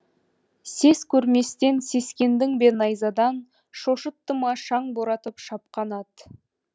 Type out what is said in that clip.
сес көрместен сескендің бе найзадан шошытты ма шаң боратып шапқан ат